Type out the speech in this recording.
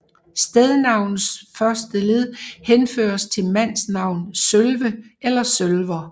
Stednavnets første led henføres til mandsnavn Sølve eller Sølwer